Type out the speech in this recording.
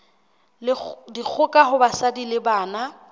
dikgoka ho basadi le bana